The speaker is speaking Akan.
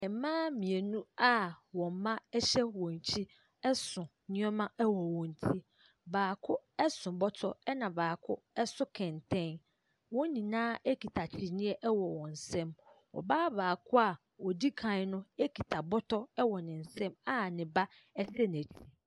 Mmaa mmienu a wɔn mma ɛhyɛ wɔn akyi ɛso nnoɔma wɔ wɔn ti. Baako so bɔtɔ na baako ɛso kɔntɛn. Wɔn nyinaa kita kyiniiɛ wɔ wɔn nsam. Ɔbaa baako a odi kan no kita bɔtɔ. Ɛwɔ ne nsam a ne ba hyɛ n'akyi.